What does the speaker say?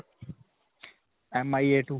MIA two.